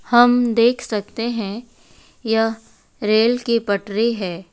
हम देख सकते हैं यह रेल की पटरी है।